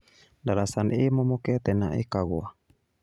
Ndaraca nĩ ĩmomokete na ĩkagũa